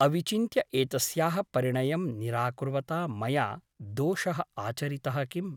अविचिन्त्य एतस्याः परिणयं निरा कुर्वता मया दोषः आचरितः किम् ?